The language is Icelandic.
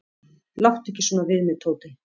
"""Láttu ekki svona við mig, Tóti."""